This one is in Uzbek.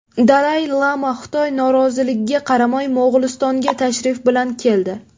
Dalay-lama Xitoy noroziligiga qaramay, Mo‘g‘ulistonga tashrif bilan keldi.